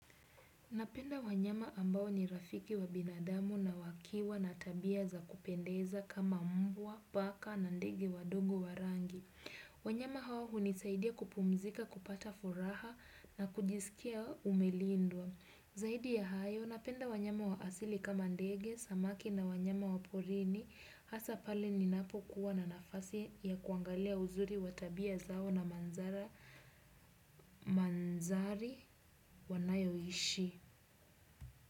Napenda wanyama ambao ni rafiki wa binadamu na wakiwa na tabia za kupendeza kama mbwa, paka na ndege wadogo wa rangi. Wanyama hawa huni saidia kupumzika kupata furaha na kujisikia umelindwa. Zaidi ya hayo, napenda wanyama wa asili kama ndege, samaki na wanyama wa porini. Hasa pale ninapo kuwa na nafasi ya kuangalia uzuri wa tabia zao na manzari wanayo ishi.